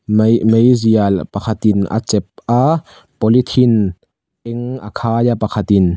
mai meizial pakhat in a chep a polythene eng a khai a pakhat in.